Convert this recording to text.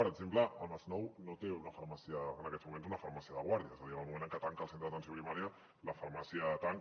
per exemple el masnou no té en aquests moments una farmàcia de guàrdia és a dir en el moment en què tanca el centre d’atenció primària la farmàcia tanca